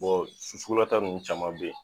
sukulata nunnu caman be yen